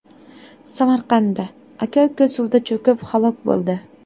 Samarqandda aka-uka suvda cho‘kib halok bo‘ldi.